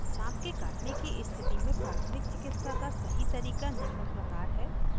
साँप के काटने की स्थिति में प्राथमिक चिकित्सा का सही तरीका निम्न प्रकार है